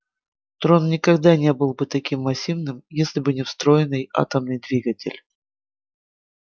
трон никогда не был бы таким массивным если бы не встроенный атомный двигатель